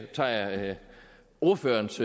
tager jeg ordførerens